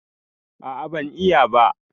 A'a ban iya ba.